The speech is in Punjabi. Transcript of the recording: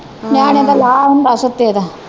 ਨਿਆਣੇ ਦਾ ਲਾ ਹੁੰਦਾ ਸੁੱਤੇ ਦਾ।